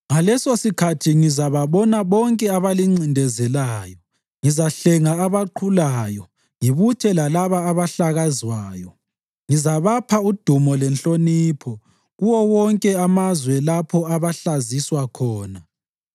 Ngalesosikhathi ngizababona bonke abalincindezelayo; ngizahlenga abaqhulayo ngibuthe lalabo abahlakazwayo, ngizabapha udumo lenhlonipho kuwo wonke amazwe lapho abahlaziswa khona.